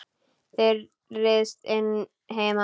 Hún ryðst inn heima.